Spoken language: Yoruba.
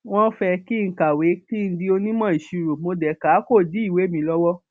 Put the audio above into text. wọn fẹ kí n kàwé kí n di onímọ ìṣirò mo dé ká a kó dí ìwé mi lọwọ